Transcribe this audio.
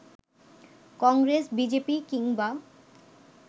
Congress, BJP কিংবা